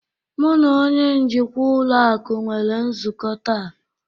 Mu na onye njikwa ụlọ akụ nwere nzukọ taa.